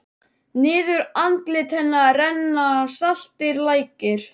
Niður andlit hennar renna saltir lækir.